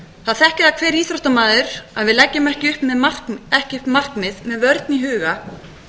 það þekkir það hver íþróttamaður að við leggjum ekki upp markmið með vörn í huga